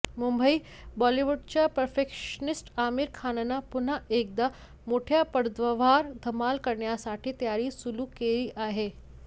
मुंबईः बॉलिवूडचा परफेक्शनिस्ट आमिर खाननं पुन्हा एकदा मोठ्या पडद्यावर धमाल करण्यासाठी तयारी सुरू केली आहे